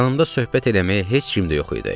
Yanımda söhbət eləməyə heç kim də yox idi.